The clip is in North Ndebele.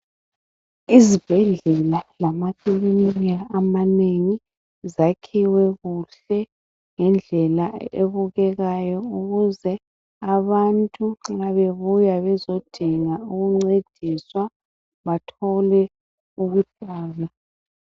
Izibhedlela lamakilinika amanengi zakhiwe kuhle ngendlela ebukekayo ukuze abantu nxa bebuya bezodinga ukuncediswa bathole ukulatshwa.